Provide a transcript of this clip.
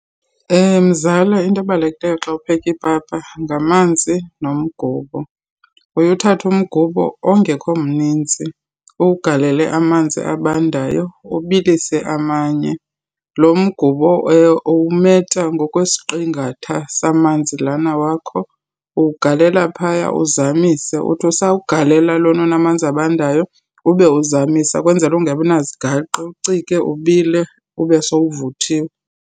Mzala, into ebalulekileyo xa upheka ipapa ngamanzi nomgubo. Uye uthatha umgubo ongekho mninzi, uwugalele amanzi abandayo ubilise amanye. Lo mgubo uwumeta ngokwesiqingatha samanzi lana wakho. Uwugalela phaya, uzamise. Uthi usawugalela lona unamanzi abandayo ube uzamisa kwenzela ungabi nazigaqa. Uwucike, ubile, ube sowuvuthiwe.